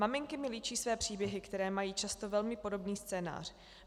Maminky mi líčí své příběhy, které mají často velmi podobný scénář.